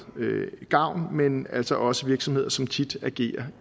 gavn men altså også virksomheder som tit agerer